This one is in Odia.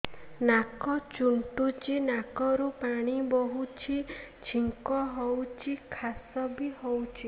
ନାକ ଚୁଣ୍ଟୁଚି ନାକରୁ ପାଣି ବହୁଛି ଛିଙ୍କ ହଉଚି ଖାସ ବି ହଉଚି